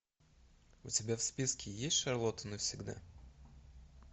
у тебя в списке есть шарлотта навсегда